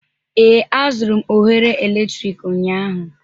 Ee, azụrụ m oghere eletrik ụnyaahụ